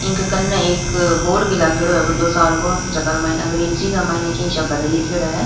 इनके कन्ने एक बोर्ड भी लागेडो है बड्डो सार को जकार माईन अंग्रेजीन के मईने के शब्द लीखेड़ो है।